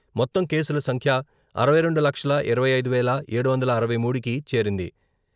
మొత్తం కేసుల సంఖ్య అరవై రెండు లక్షల ఇరవై ఐదు వేల ఏడు వందల అరవై మూడుకి చేరింది.